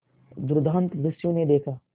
दुर्दांत दस्यु ने देखा